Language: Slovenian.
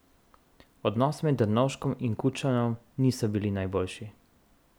Odnosi med Drnovškom in Kučanom niso bili najboljši.